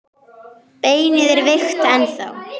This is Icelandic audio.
Beinið er veikt ennþá.